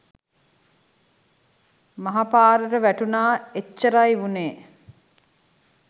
මහ පාරට වැටුණා එච්චරයි වුණේ